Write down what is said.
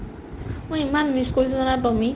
মই ইমান miss কৰিলো জানা tommy ক